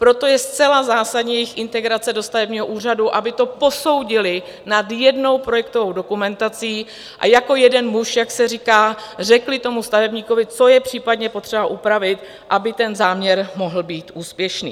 Proto je zcela zásadní jejich integrace do stavebního úřadu, aby to posoudily nad jednou projektovou dokumentací a jako jeden muž, jak se říká, řekli tomu stavebníkovi, co je případně potřeba upravit, aby ten záměr mohl být úspěšný.